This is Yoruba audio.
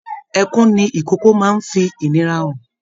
Ẹkún ní ikòkò máa n fí ìnira hàn.